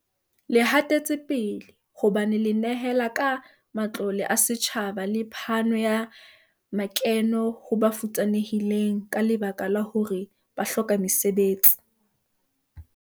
Le hatetsepele, hobane le nehela ka matlole a setjhaba le phano ya makeno ho ba futsanehileng ka lebaka la hore ba hloka mesebetsi.